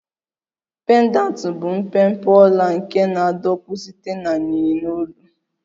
Pendanti bụ mpempe ọla nke na-adọkpụ site na yinye n'olu